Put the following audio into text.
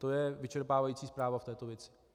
To je vyčerpávající zpráva k této věci.